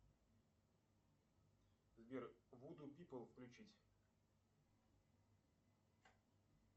сбер вуду пипл включить